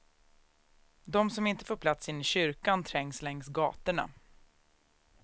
De som inte får plats inne i kyrkan trängs längs gatorna.